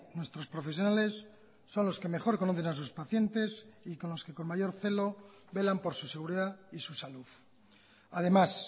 nuestros profesionales son los que mejor conocen a sus pacientes y con los que con mayor celo velan por su seguridad y su salud además